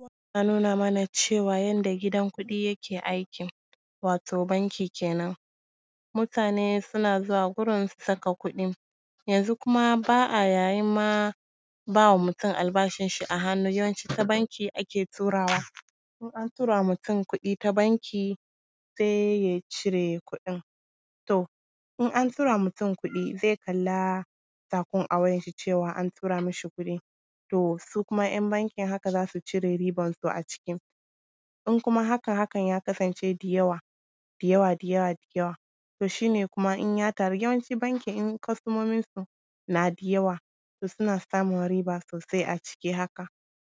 Yana nuna mana cewa yanda gidan kuɗi yake aiki, wato banki kenan. Mutane suna zuwa gurin su saka kuɗin, yanzu kuma ba a yayin ma bamawa mutum albashin shi a hannu yawanci ta banki ake turawa, in an turama mutum kuɗi ta banki sai su cire, to in an turama mutum kuɗi zai kalla kafin a wayan shi cewa an tura mishi kuɗi, to su kuma ‘yan bankin haka za su cire ribansu a ciki. In kuma hakan haka ya kasance da yawa, da yawa da yawa to shi ne yawanci banki in kostomomin su na da yawa to suna samun riba sosai a ciki haka,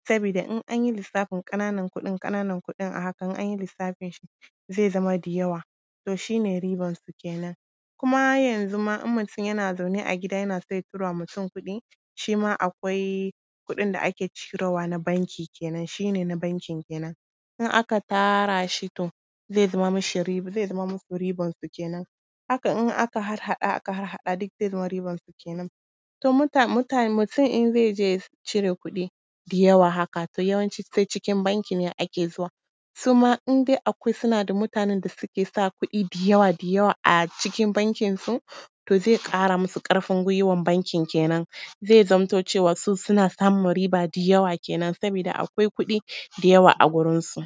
saboda in anyi lissafin ƙananan kuɗin ƙananan kuɗin a hakan in anyi lissafin shi ze zama da yawa, to shi ne ribansu kenen. Kuma yanzuma in mutum yana zaune a gida ya so ya turama mutum kuɗi, shima akwai kuɗin da ake cire wa na banki kenan, shi ne na bankin kenan, in aka tara shi to ze zama mishi riba, haka in aka harharɗa aka harhaɗa duk zai zamo riban su kenen. To mutane, mutum in ze je cire kuɗi da yawa haka to yawanci sai cikin banki ne ake zuwa, suma in dai akwai mutane da suke da kuɗi da yawa, da yawa a cikin bankin su to ze ƙara musu ƙarfin gwiwan bankin kenen, ze zammato cewa su suna samun riba da yawa kenen sabida akwai kuɗi da yawa a gurinsu.